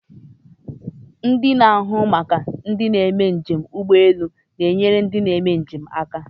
Ndị na-ahụ maka ndị na-eme njem ụgbọelu na-enyere ndị njem aka.